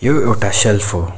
यो एउटा सेल्फ हो।